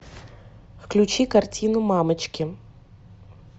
включи картину мамочки